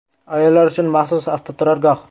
Ayollar uchun maxsus avtoturargoh.